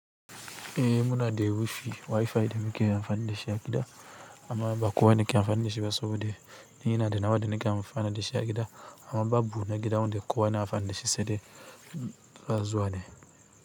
Eh muna da wifi, wifi da muke amfani da shi a gida amma ba kowa ne ke amfani da shi ba saboda ni ina da nawa da nike amfani da shi a gida amma babu na gida wanda kowa na amfani dashi saidai ina zuwane.